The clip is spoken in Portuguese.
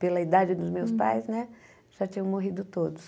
Pela idade dos meus pais né, já tinham morrido todos.